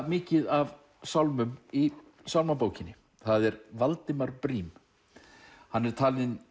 mikið af sálmum í sálmabókinni það er Valdimar Briem hann er talinn